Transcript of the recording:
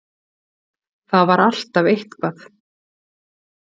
Það var alltaf eitthvað.